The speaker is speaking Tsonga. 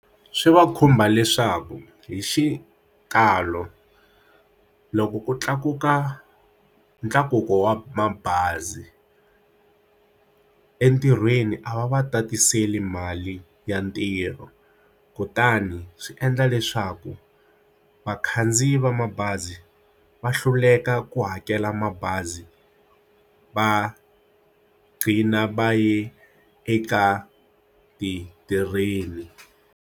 Swi va khumba leswaku hi xikalo loko ku tlakuka ntlakuko wa mabazi entirhweni a va va tatiseli mali ya ntirho kutani swi endla leswaku vakhandziyi va mabazi va hluleka ku hakela mabazi va gcina va ya eka ti train.